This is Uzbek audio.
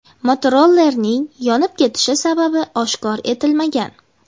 Motorollerning yonib ketishi sababi oshkor etilmagan.